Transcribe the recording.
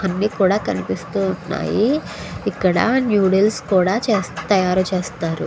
అన్ని కూడా కనిపిస్తూ వున్నాయ్ ఇక్కడ నూడుల్స్ కూడా తయారు చేస్తారు.